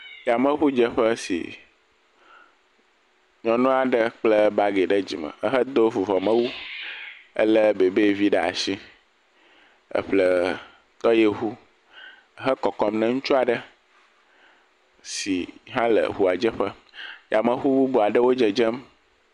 Yameŋudzeƒe si nyɔnu aɖe kpla bagi ɖe dzime hedo vuvɔmewu elé bɛbɛvi ɖe asi eƒle tɔyiŋu hekɔkɔm ne ŋutsu aɖe si hele ŋua dzeƒe. Yameŋu bubu aɖewo le dzedzem.